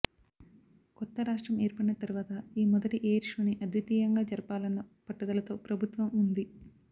కొత్త రాష్ట్రం ఏర్పడిన తరువాత ఈ మొదటి ఎయిర్ షోని ఆద్వితీయంగా జరపాలన్న పట్టుదలతో ప్రభుత్వం ఉంది